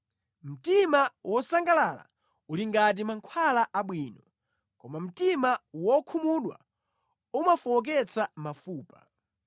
Mtima wosangalala uli ngati mankhwala abwino, koma mtima wokhumudwa umafowoketsa mafupa.